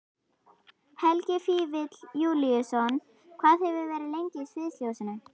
Helgi Vífill Júlíusson: Hvað hefurðu verið lengi í sviðsljósinu?